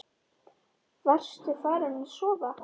Varstu farin að sofa?